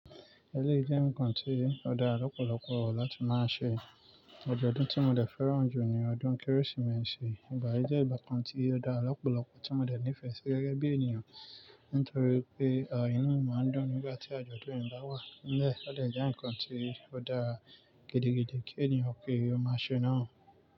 Ẹléyii jẹ́ ǹkan tí ó dá lọ̀pọ̀lọpọ̀ láti máa ṣe. Ọjọ́ ọdún tí mo dẹ fẹ́ràn jù ní ọdún Kérésìmesì. Ìgbà yí jẹ́ ìgbà kan tí ó dá ọ̀pọ̀lọpọ̀ tí mo lè nífẹ̀ẹ́ sí gẹ́gẹ́ bí ènìyàn, nítorí pé à inu mii máa ń dun nígbà tí àjọ̀dún yìí bá wà. Lẹ o dẹ jẹ́ ǹkan tí ó dára gidi-gidi kí ènìyàn ki ó máa ṣe náà.